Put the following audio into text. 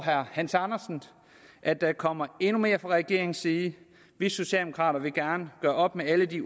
herre hans andersen at der kommer endnu mere fra regeringens side vi socialdemokrater vil gerne gøre op med alle de